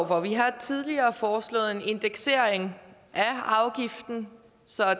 for vi har tidligere foreslået en indeksering af afgiften så